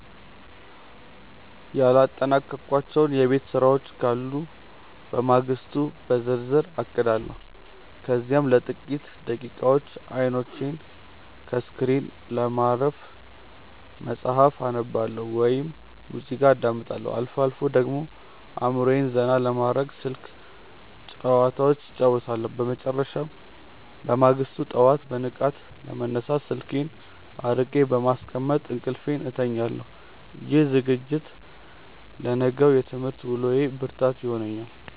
ያላጠናቀቅኳቸው የቤት ስራዎች ካሉ ለማግስቱ በዝርዝር አቅዳለሁ። ከዚያም ለጥቂት ደቂቃዎች አይኖቼን ከስክሪን ለማረፍ መጽሐፍ አነባለሁ ወይም ሙዚቃ አዳምጣለሁ። አልፎ አልፎ ደግሞ አእምሮዬን ዘና ለማድረግ ስልክ ጭዋታዎች እጫወታለሁ። በመጨረሻም፣ በማግስቱ ጠዋት በንቃት ለመነሳት ስልኬን አርቄ በማስቀመጥ እንቅልፌን እተኛለሁ። ይህ ዝግጅት ለነገው የትምህርት ውሎዬ ብርታት ይሆነኛል።